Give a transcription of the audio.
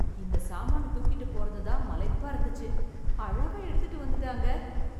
இந்த சாமான் தூக்கிட்டுப் போறது தான் மலைப்பா இருந்துச்சு, அழகா எடுத்துட்டு வந்துட்டாங்க.